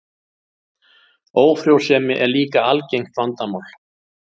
Ófrjósemi er líka algengt vandamál.